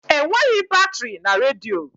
Enweghị batrị na redio.